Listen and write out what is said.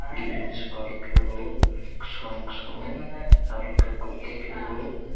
gate ni sor kebo kosom kosom aro ke koti kebo.